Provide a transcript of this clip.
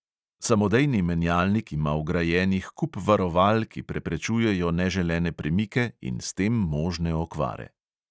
Samodejni menjalnik ima vgrajenih kup varoval, ki preprečujejo neželene premike in s tem možne okvare.